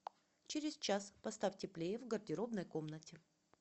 через час поставь теплее в гардеробной комнате